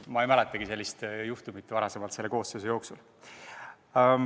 Ma ei mäletagi selle koosseisu puhul varasemast sellist juhtumit.